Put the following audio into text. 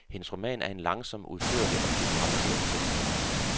Hendes roman er en langsom, udførlig og dybt raffineret tekst.